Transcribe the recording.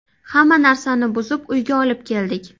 Hamma narsani buzib, uyga olib keldik.